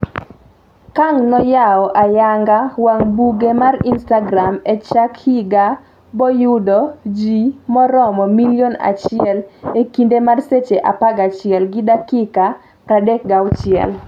Kang noyawo ayanga wang buge mar instagram e chak higa boyudo jii moromo milion achiel e kinde mar seche 11 gi dakika 36